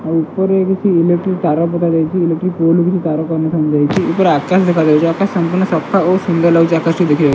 ଆଉ ଉପରେ କିଛି ଇଲେକ୍ଟ୍ରି ତାର ପକା ଯାଇଚି। ଇଲେକ୍ଟ୍ରି ପୋଲ୍ ରୁ କିଛି ତାର କନେକ୍ସନ୍ ଦେଇଛି। ଉପରେ ଆକାଶ ଦେଖାଯାଉଚି। ଆକାଶ ସମ୍ପୂର୍ଣ୍ଣ ସଫା ଓ ସୁନ୍ଦର ଲାଗୁଚି। ଆକାଶଟି ଦେଖିବା --